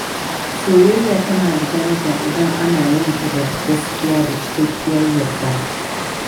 Soyayya tana da daraja idan ana yin ta da gaskiya da cikakkiyar yarda.